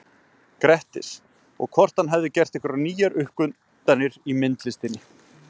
Grettis, og hvort hann hefði gert einhverjar nýjar uppgötvanir í myndlistinni.